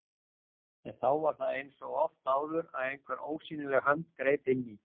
En þá var það eins og oft áður að einhver ósýnileg hönd greip inn í.